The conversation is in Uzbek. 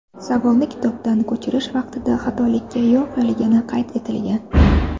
Savolni kitobdan ko‘chirish vaqtida xatolikka yo‘l qo‘yilgani qayd etilgan.